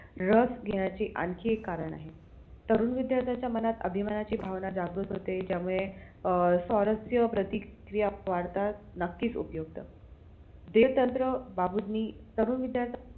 रस घेण्याचे आणखी एक कारण आहे तरुण विद्यार्थ्यांच्या मनात अभिमानाची भावना जागरूक होते ज्यामुळे अं सौरस्य प्रतीक्रिया वाढतात नक्कीच उपयुक्त देवतंत्र बाबूंनी तरुण विद्यार्थ्यांना